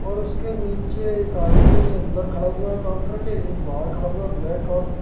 और उसके नीचे एक आदमी अंदर खड़ा हुआ काउंटर के एक बाहर खड़ा हुआ है। ब्लैक और--